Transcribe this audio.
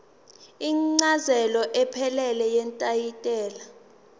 incazelo ephelele yetayitela